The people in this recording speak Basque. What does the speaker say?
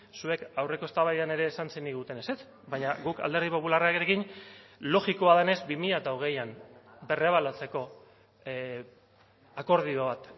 zuek aurreko eztabaidan ere esan zeniguten ezetz baina guk alderdi popularrarekin logikoa denez bi mila hogeian berrebaluatzeko akordio bat